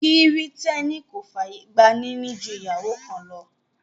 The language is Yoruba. Kìrìtẹ́nì kò fàyè gba níní ju ìyàwó kan lọ